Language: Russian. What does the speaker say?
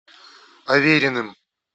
авериным